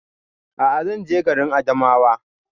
A'a zan je garin Adamawa